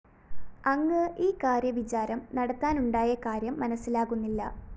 അങ്ങ് ഈ കാര്യവിചാരം നടത്താനുണ്ടായ കാര്യം മനസ്സിലാകുന്നില്ല